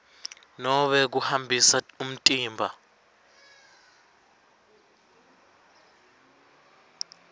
nobe kuhambisa umtimba